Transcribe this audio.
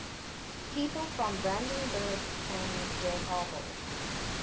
people from brandenburg an der havel